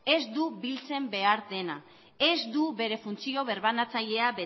ez du biltzen behar dena ez du bere funtzio birbanatzailea